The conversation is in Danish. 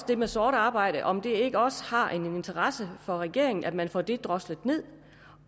det med sort arbejde om det ikke også har en interesse for regeringen at man får det droslet ned